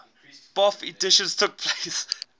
bofh editions took